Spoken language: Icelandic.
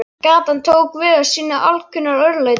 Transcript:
Gatan tók við af sínu alkunna örlæti.